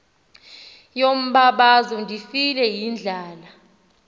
yombabazo ndifile yindlala